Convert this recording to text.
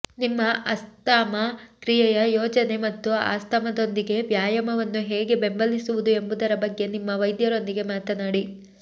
ನಿಮ್ಮ ಆಸ್ತಮಾ ಕ್ರಿಯೆಯ ಯೋಜನೆ ಮತ್ತು ಆಸ್ತಮಾದೊಂದಿಗೆ ವ್ಯಾಯಾಮವನ್ನು ಹೇಗೆ ಬೆಂಬಲಿಸುವುದು ಎಂಬುದರ ಬಗ್ಗೆ ನಿಮ್ಮ ವೈದ್ಯರೊಂದಿಗೆ ಮಾತನಾಡಿ